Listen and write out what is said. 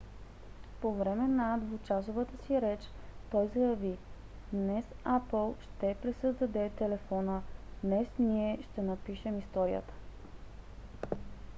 по време на двучасовата си реч той заяви днес apple ще пресъздаде телефона днес ние ще напишем историята